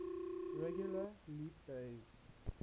regular leap days